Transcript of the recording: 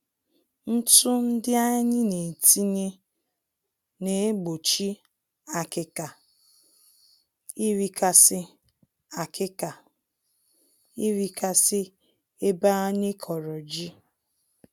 Ntụ ndị anyị netinye, naegbochi akịka (termites) irikasị akịka (termites) irikasị ebe anyị kọrọ ji